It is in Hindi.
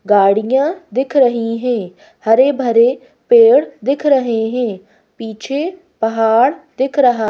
गाड़ियाँ दिख रही हैं हरे भरे पेड़ दिख रहे हैं पीछे पहाड़ दिख रहा--